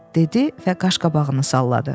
Dedi və qaşqabağını salladı.